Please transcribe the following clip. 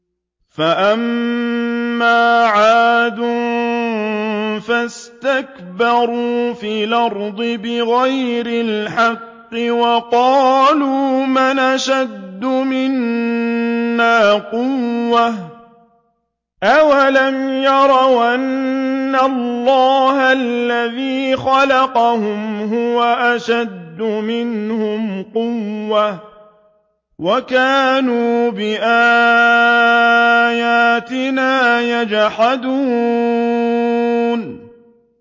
فَأَمَّا عَادٌ فَاسْتَكْبَرُوا فِي الْأَرْضِ بِغَيْرِ الْحَقِّ وَقَالُوا مَنْ أَشَدُّ مِنَّا قُوَّةً ۖ أَوَلَمْ يَرَوْا أَنَّ اللَّهَ الَّذِي خَلَقَهُمْ هُوَ أَشَدُّ مِنْهُمْ قُوَّةً ۖ وَكَانُوا بِآيَاتِنَا يَجْحَدُونَ